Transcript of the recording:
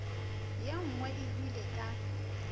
ye nngwe e hwile ka